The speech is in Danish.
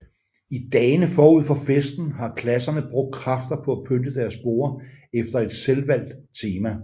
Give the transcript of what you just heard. I dagene forud for festen har klasserne brugt kræfter på at pynte deres borde efter et selvvalgt tema